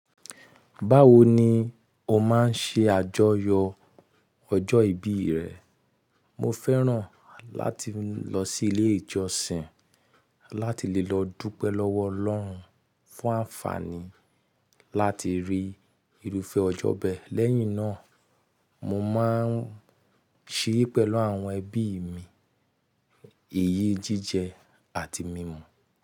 Báwo ni o máa ń ṣe àjọyọ̀ ọjọ́ ìbí rẹ? Mo fẹ́ràn láti lọ sí ilé ìjọsìn láti lè lọ dúpẹ́ lọ́wọ́ Ọlọ́run fún àǹfààní láti rí irúfẹ́ ọjọ́ bẹ́ẹ̀. Lẹ́yìn náà, mo máa ń ṣeré pẹ̀lú àwọn ẹbí mi, eyí jíjẹ àti mímu.